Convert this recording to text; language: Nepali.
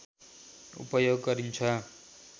उपयोग गरिन्छ